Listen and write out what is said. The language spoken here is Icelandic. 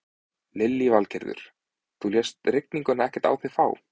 Lillý Valgerður: Þú lést rigninguna ekkert á þig fá?